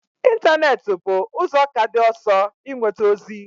Ịntanetị bụ ụzọ ka dị ọsọ inweta ozi